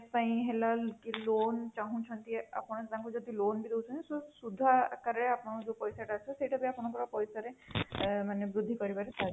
ପାଇଁ ହେଲା କି loan ଚାହୁଁଛନ୍ତି ଆପଣ ତାକୁ ଯଦି loan ବି ଦଉଛନ୍ତି ସୁଧ ଆକାର ରେ ଆପଣଙ୍କର ଯୋଉ ପଇସା ଟା ଆସିବ ସେଇଟା ବି ଆପଣଙ୍କର ପଇସା ରେ ବୃଦ୍ଧି କରିବାରେ ସାହାର୍ଯ୍ୟ କରିବ